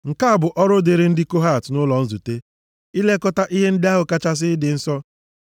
“Nke a bụ ọrụ dịrị ndị Kohat nʼụlọ nzute, ilekọta ihe ndị ahụ kachasị ịdị nsọ.